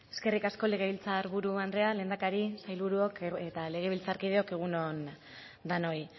eskerrik asko legebiltzar buru andrea lehendakari sailburuok eta legebiltzarkideok egun on denoi